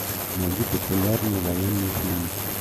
найди популярные военные фильмы